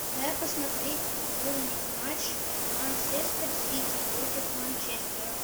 дай посмотреть футбольный матч манчестер сити против манчестера